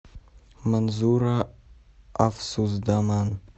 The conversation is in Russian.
манзура афсусдаман